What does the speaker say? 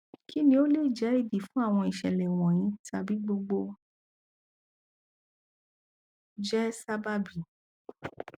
kí ni o lè jẹ́ ìdí fún àwọn ìṣẹ̀lẹ̀ wọ̀nyìí tàbí gbogbo jẹ́ sábàbí